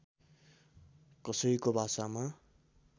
कसैको भाषामा